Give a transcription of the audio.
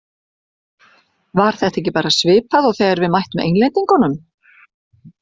Var þetta ekki bara svipað og þegar við mættum Englendingunum?